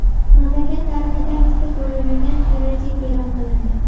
Mamlakat tarixida misli ko‘rilmagan karantin e’lon qilindi .